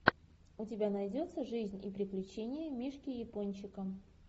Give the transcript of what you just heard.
у тебя найдется жизнь и приключения мишки япончика